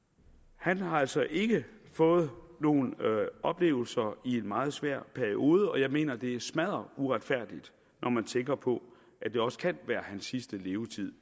han har altså ikke fået nogen oplevelser i en meget svær periode og jeg mener det er smadderuretfærdigt når man tænker på at det også kan være hans sidste levetid